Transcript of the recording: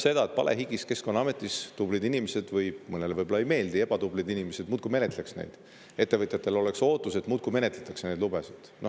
See tähendab seda, et Keskkonnaameti tublid inimesed või ebatublid inimesed – mõnele võib-olla nad ei meeldi – muudkui palehigis menetleks neid ja ettevõtjatel oleks ootus, et neid lubasid muudkui menetletakse.